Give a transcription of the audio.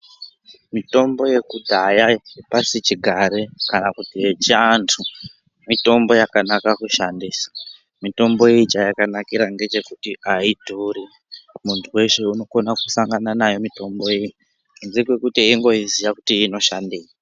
Mitombo yekudhaya yepasichigare kana kuti yechiantu mitombo yakanaka kushandisa. Mitombo iyi chayakanakira ngechekuti ayidhuri, muntu weshe unokona kusangana nayo mitombo iyi kunze kwekuti weingoiziya kuti inoshandei.